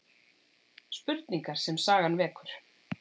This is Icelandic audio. Spurningar sem sagan vekur